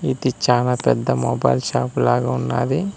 ఇది చానా పెద్ద మొబైల్ షాప్ లాగా ఉన్నాది.